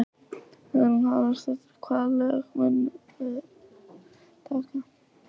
Hugrún Halldórsdóttir: Hvaða lög munuð þið taka?